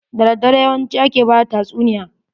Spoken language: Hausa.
Da daddare yawanci ake bada tatsuniya.